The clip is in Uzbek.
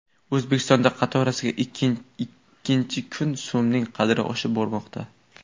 O‘zbekistonda qatorasiga ikkinchi kun so‘mning qadri oshib bormoqda.